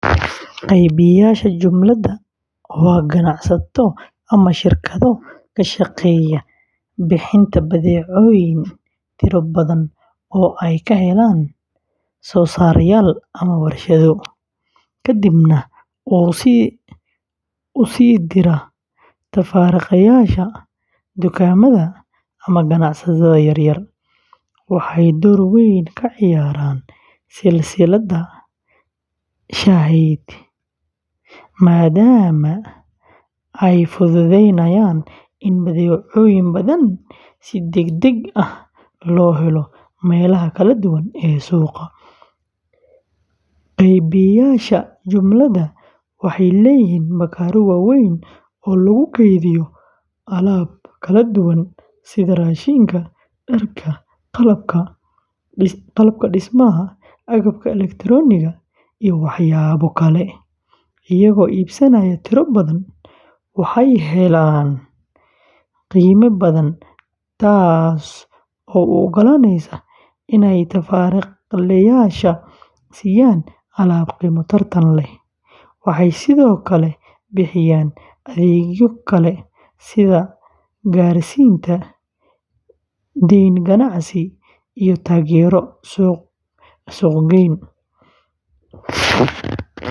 Qeybiyeyaasha jumlada waa ganacsato ama shirkado ka shaqeeya bixinta badeecooyin tiro badan oo ay ka helaan soosaarayaal ama warshado, kadibna u sii dira tafaariiqleyaasha, dukaamada, ama ganacsatada yar yar. Waxay door weyn ka ciyaaraan silsiladda sahayda maadaama ay fududeeyaan in badeecooyin badan si degdeg ah loo helo meelaha kala duwan ee suuqa. Qeybiyeyaasha jumlada waxay leeyihiin bakhaarro waaweyn oo lagu kaydiyo alaab kala duwan sida raashinka, dharka, qalabka dhismaha, agabka elektarooniga ah, iyo waxyaabo kale. Iyagoo iibsanaya tiro badan, waxay helaan qiime jaban, taas oo u ogolaanaysa inay tafaariiqleyaasha siiyaan alaab qiimo tartan leh. Waxay sidoo kale bixiyaan adeegyo kale sida gaarsiinta, dayn ganacsi, iyo taageero suuq-geyn.